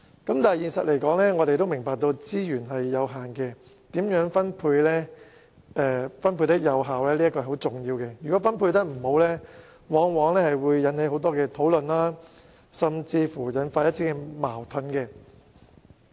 然而，現實上我們明白資源有限，因此如何作出有效分配是十分重要的，如果分配不公，往往引起很多討論甚至觸發矛盾。